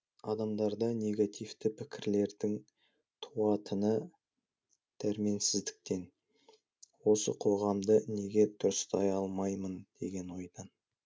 адамдарда негативті пікірлердің туатыны дәрменсіздіктен осы қоғамды неге дұрыстай алмаймын деген ойдан